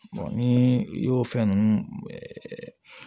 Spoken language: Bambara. ni i y'o fɛn ninnu